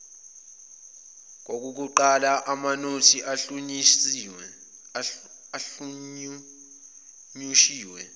kowokuqala amanothi ahunyushiwe